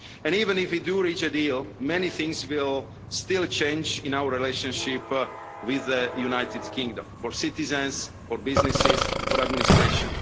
year. Even if we do reach a deal, many things will still change in our relationship with the United Kingdom for citizens, for businesses, for administration.